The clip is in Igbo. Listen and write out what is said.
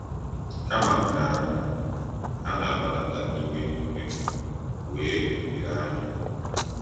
Kama nke ahụ, ha na-agbadata n’ike n’ike wee “dịrị anya.”